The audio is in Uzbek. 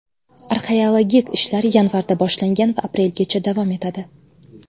Arxeologik ishlar yanvarda boshlangan va aprelgacha davom etadi.